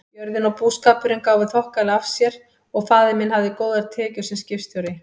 Jörðin og búskapurinn gáfu þokkalega af sér og faðir minn hafði góðar tekjur sem skipstjóri.